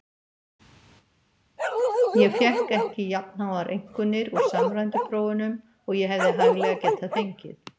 Ég fékk ekki jafnháar einkunnir úr samræmdu prófunum og ég hefði hæglega getað fengið.